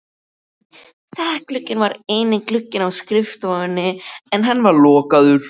Þakglugginn var eini glugginn á skrifstofunni en hann var lokaður.